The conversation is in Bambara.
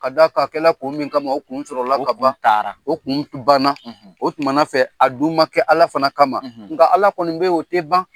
Ka d'a kan, a kɛra kun min kama, o kun sɔrɔla ka ban, , o kun taara, o kun banna o tunmana fɛ a dun ma kɛ ala fana kama, , nka ala kɔni bɛ ye, o tɛ ban.